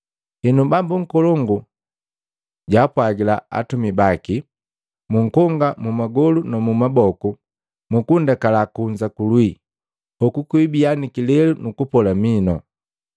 Henu bambu nkolongu jaapwagila atumika baki, ‘Munkonga mu magolu numumaboku mukundekala kunza kulwii. Hoku kwiibiya kilelu nukupola minu.’ ”